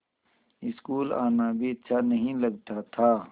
school आना भी अच्छा नहीं लगता था